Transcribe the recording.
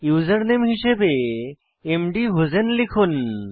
username হিসাবে মধুসেইন লিখুন